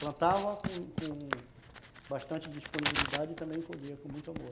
Plantava com com bastante disponibilidade e também colhia com muito amor.